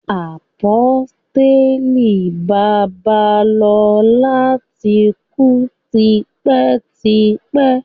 Àpọ́stélì Babalola ti kú tipẹ́ tipẹ́.